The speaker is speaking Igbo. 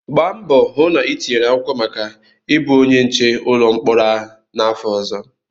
Gbaa mbọ hụ na itinyere akwụkwọ maka ịbụ onye nche ụlọ mkpọrọ ahụ n'afọ ọzọ!